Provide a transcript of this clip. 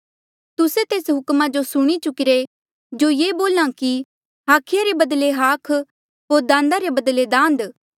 तुस्से तेस हुक्मा जो सुणी चुकिरे जो ये बोल्हा कि हाखिया रे बदले हाख होर दान्दा रे बदले दान्द